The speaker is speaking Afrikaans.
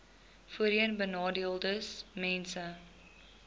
voorheenbenadeeldesmense